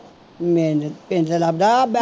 ਪਿੰਡ